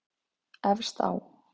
Efst á